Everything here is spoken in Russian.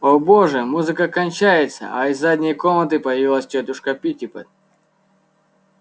о боже музыка кончается а из задней комнаты появилась тётушка питтипэт